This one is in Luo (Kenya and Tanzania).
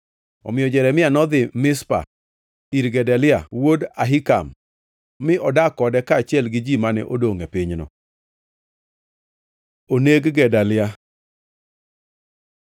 Omiyo Jeremia nodhi Mizpa ir Gedalia wuod Ahikam mi odak kode kaachiel gi ji mane odongʼ e pinyno. Oneg Gedalia